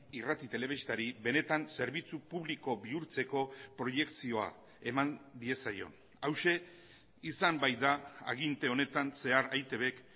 irrati telebistari benetan zerbitzu publiko bihurtzeko proiekzioa eman diezaion hauxe izan baita aginte honetan zehar eitbk